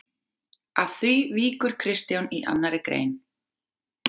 Að því víkur Kristján í annarri grein